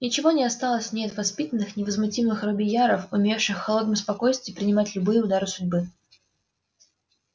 ничего не осталось в ней от воспитанных невозмутимых робийяров умевших в холодном спокойствии принимать любые удары судьбы